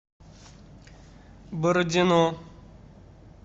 бородино